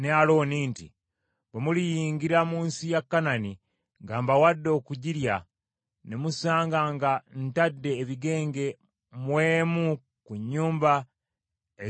“Bwe muliyingira mu nsi ya Kanani gye mbawadde okugirya, ne musanga nga ntadde ebigenge mu emu ku nnyumba ez’omu nsi eyo,